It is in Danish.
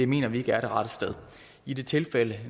mener vi ikke er det rette sted i det tilfælde